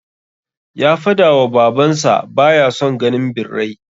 Ya fadawa baban sa baya son ganin birrai